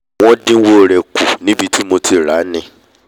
wọ́n dínwó rẹ̀ kù níbi tí mo ti ràá ni